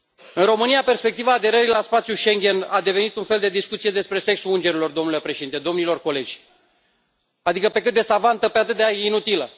În România, perspectiva aderării la spațiul Schengen a devenit un fel de discuție despre sexul îngerilor, domnule Președinte, domnilor colegi adică, pe cât de savantă, pe atât de a inutilă.